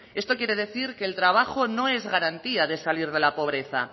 esto quiere decir que el trabajo no es garantía de salir de la pobreza